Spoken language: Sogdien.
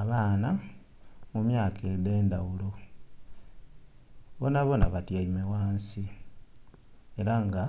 Abaana mu myaka edhendhghulo bonha bonha bayaime ghansi era nga